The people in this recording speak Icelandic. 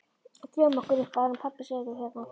Drífum okkur upp áður en pabbi sér þig hérna